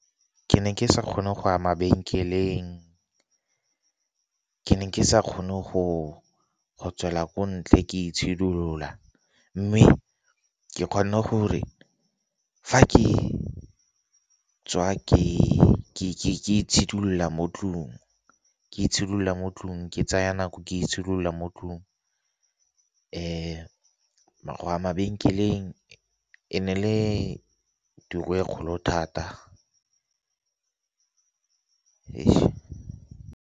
Ke ne ke sa kgone go ya mabekeleng, ke ne ke sa kgone go tswela ko ntle ke itshidilola. Mme ke kgone gore fa ke tswa ke itshidilola mo tlung, ke itshidilola mo tlung, ke tsaya nako ke itshidilola mo tlung go a mabenkeleng e ne le tiro e kgolo thata .